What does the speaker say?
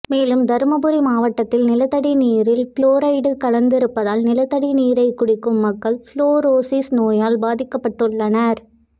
மேலும் தருமபுரி மாவட்டத்தில் நிலத்தடி நீரில் புளோரைடு கலந்திருப்பதால் நிலத்தடி நீரை குடிக்கும் மக்கள் புளூரோசிஸ் நோயால் பாதிக்கப்பட்டுள்ளனர்